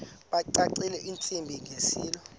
bacacisele intsi ngiselo